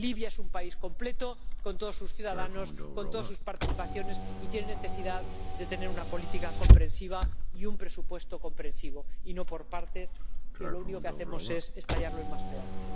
Libia es un país completo con todos sus ciudadanos, con todas sus participaciones y tiene necesidad de una política comprensiva y un presupuesto comprensivo y no por partes, que lo único que hacemos es estallarlo en más pedazos.